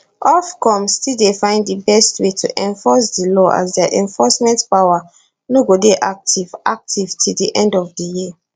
ofcom still dey find di best way to enforce di law as dia enforcement power no go dey active active till di end of di year